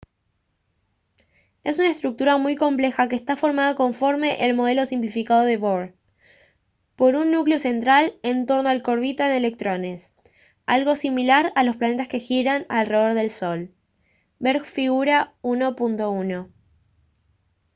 es una estructura muy compleja que está formada conforme el modelo simplificado de bohr por un núcleo central en torno al que orbitan electrones algo similar a los planetas que giran alrededor del sol ver figura 1.1